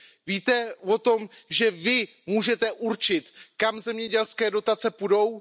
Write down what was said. Víte o tom, že vy můžete určit, kam zemědělské dotace půjdou?